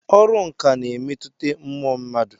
Ọrụ nkà na-emetụta mmụọ mmadụ.